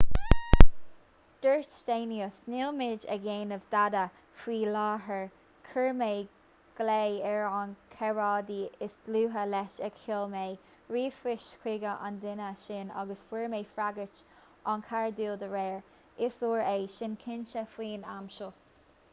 dúirt danius níl muid ag déanamh dada faoi láthair chuir mé glao ar a chomrádaí is dlúithe leis agus sheol mé ríomhphoist chuig an duine sin agus fuair mé freagairt an-chairdiúl dá réir is leor é sin cinnte faoin am seo